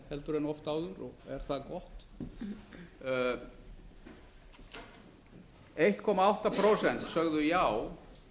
heldur en oft áður og er það gott eitt komma átta prósent sögðu já